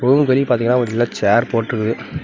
ரூமுக்கு வெளிய பாத்தீங்கனா ஒரு வெள்ள சேர் போட்ருக்கு.